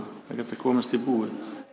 að komast í búð